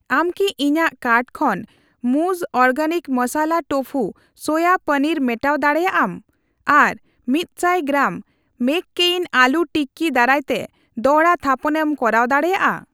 ᱟᱢ ᱠᱤ ᱤᱧᱟᱜ ᱠᱟᱨᱴ ᱠᱷᱚᱱ ᱢᱩᱩᱡ ᱵᱮᱱᱟᱣ ᱢᱚᱥᱞᱟ ᱛᱳᱯᱷᱩ ᱥᱚᱣᱟ ᱯᱚᱱᱤᱨ ᱢᱮᱴᱟᱣ ᱫᱟᱲᱮᱭᱟᱜ ᱟᱢ ᱟᱨ ᱢᱤᱛᱥᱟᱭ ᱜᱨᱟᱢ, ᱜᱨᱟᱢ ᱢᱮᱠᱠᱮᱭᱤᱱ ᱟᱞᱩ ᱴᱤᱠᱤ ᱫᱟᱨᱟᱭᱛᱮ ᱫᱚᱲᱦᱟ ᱛᱷᱟᱯᱚᱱᱮᱢ ᱠᱚᱨᱟᱣ ᱫᱟᱲᱮᱭᱟᱜᱼᱟ ᱾